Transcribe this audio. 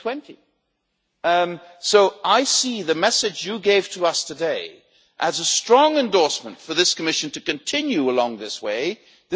2020. So I see the message you gave to us today as a strong endorsement for this Commission to continue along this path.